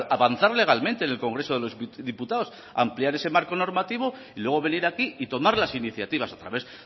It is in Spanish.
avanzar legalmente en el congreso de los diputados ampliar ese marco normativo y luego venir aquí y tomar las iniciativas a través